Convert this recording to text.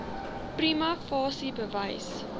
prima facie bewys